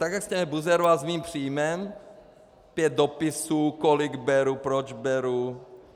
Tak jak jste mě buzeroval s mým příjmem - pět dopisů, kolik beru, proč beru.